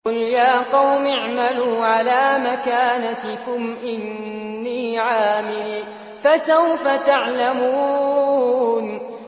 قُلْ يَا قَوْمِ اعْمَلُوا عَلَىٰ مَكَانَتِكُمْ إِنِّي عَامِلٌ ۖ فَسَوْفَ تَعْلَمُونَ